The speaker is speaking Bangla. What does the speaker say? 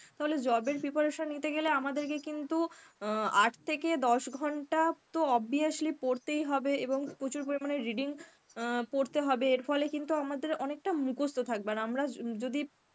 তাহলে job এর preparation নিতে গেলে আমাদের কে কিন্তু অ্যাঁ আট থেকে দশ ঘন্টা তো obviously পড়তেই হবে এবং প্রচুর পরিমানে reading অ্যাঁ পড়তে হবে এর ফলে কিন্তু আমাদের অনেকটা মুখস্ত থাকবে, আর আমরা য~ যদি